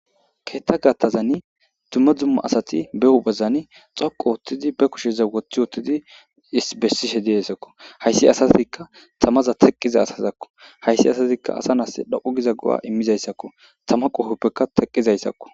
Keetta gattazani dumma dzumma asati be huphezani xoqu oothidi be kusheza wothi wothidi is bessishe de7eessakko hayssi asazikka tamaza teqqiza asazakko hayssi asatikka asa nas dhoqqu giza go7a immizayssakko tama qohoppekka teqqizayssakko.